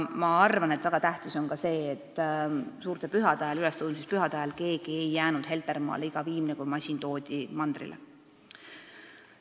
Ma arvan, et väga tähtis on ka see, et suurte pühade ajal, ülestõusmispühade ajal ei jäänud keegi Heltermaale ja iga viimne kui masin toodi mandrile.